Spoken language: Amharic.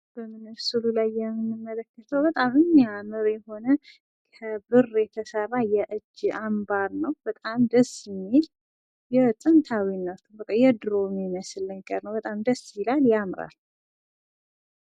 በዚህ በምስሉ ላይ የምንመለከተው በጣም የሚያምር የሆነ ከብር የተሰራ የእጅ አንባር ነው። በጣም ደስ የሚል ጥንታዊ የድሮ የሚመስል ነገር ነው በጣም ደስ የሚል ነው። ያምራል።